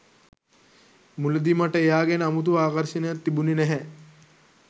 මුලදි මට එයා ගැන අමුතු ආකර්ෂණයක් තිබුණෙ නැහැ.